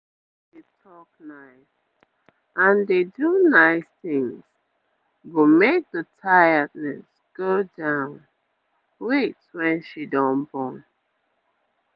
make you dey talk nice and dey do nice things go make the tiredness go down wait when she don born